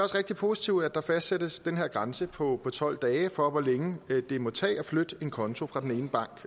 rigtig positivt at der fastsættes den her grænse på tolv dage for hvor længe det må tage at flytte en konto fra den ene bank